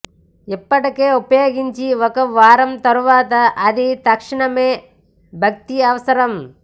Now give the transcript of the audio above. ఇప్పటికే ఉపయోగించి ఒక వారం తర్వాత అది తక్షణమే భర్తీ అవసరం